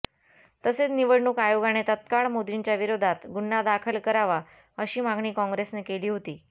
तसेच निवडणूक आयोगाने तात्काळ मोदींच्या विरोधात गुन्हा दाखल करावा अशी मागणी काँग्रेसने केली होती